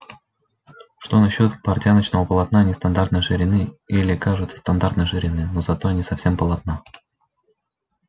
что насчёт портяночного полотна нестандартной ширины или кажется стандартной ширины но зато не совсем полотна